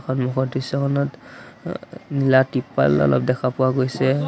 সন্মুখৰ দৃশ্যখনত এ-এ নীলা তিপ্পাল অলপ দেখা পোৱা গৈছে।